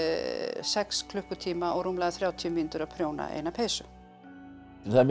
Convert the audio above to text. sex klukkutíma og rúmlega þrjátíu mínútur að prjóna eina peysu það er mjög